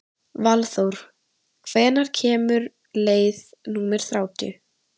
Valþór, hvenær kemur leið númer þrjátíu?